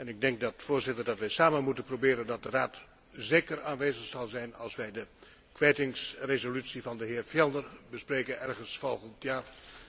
Ik denk, Voorzitter, dat wij samen moeten proberen dat de Raad zeker aanwezig zal zijn als wij de kwijtingsresolutie van de heer Fjellner bespreken, ergens volgend jaar.